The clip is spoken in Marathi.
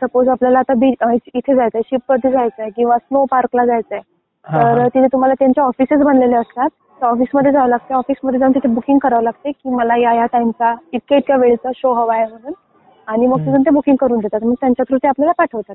सपोज आपल्याला आता बिच इथे शिप वरती जायचंय किंवा स्नो पार्कला जायचं आहे. तर तिथे तुम्हाला त्यांच्या ऑफिस बनलेले असतात त्या ऑफिसमध्ये जावं लागतं. त्या ऑफिस मध्ये जाऊन तिथे बुकिंग करावं लागते. की मला या या टाईमचा इतके इतके वेळेचा शो हवा आहे म्हणून आणि मग ते बुकिंग करून देतात मग त्यांच्या थ्रू ते आपल्याला पाठवतात.